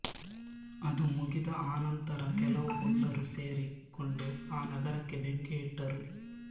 ಅದು ಮುಗಿದ ಅನಂತರ ಕೆಲವು ಪುಂಡರು ಸೇರಿ ಕೊಂಡು ಆ ನಗರಕ್ಕೆ ಬೆಂಕಿಯಿಟ್ಟರು